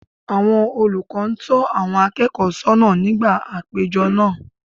Àwọn olùkọ́ ń tọ́ àwọn akẹ́kọ̀ọ́ sọ́nà nígbà àpéjọ náà